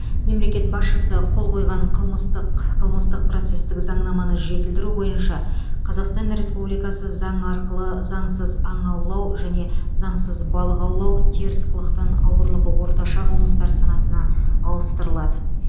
мемлекет басшысы қол қойған қылмыстық қылмыстық процестік заңнаманы жетілдіру бойынша қазақстан республикасы заңы арқылы заңсыз аң аулау және заңсыз балық аулау теріс қылықтан ауырлығы орташа қылмыстар санатына ауыстырылды